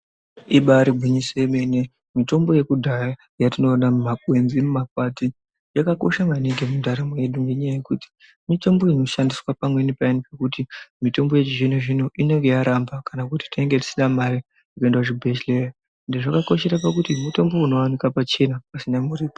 Ibaari gwinyiso remene, mitombo yekudhaya yatinoona mumakwenzi mumakwati, yakakosha maningi mundaramo mwedu ngendaa yekuti mitombo inoshandiswa pamweni payani pekuti mitombo yechizvino-zvino inenge yaramba kana kuti tinenge tisina mare yekuenda kuchibhedhlera ende zvakakoshera kuti mitombo inooneka pachena, pasina muripo.